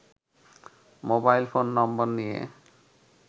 mobile phone number নিয়ে